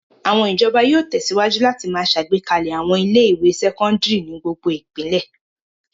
Àwọn ìjọba yóò tẹ̀síwájú láti máa ṣàgbékalẹ̀ àwọn ilé-ìwé sẹ́kọ́ndárì ní gbogbo ìpínlẹ̀.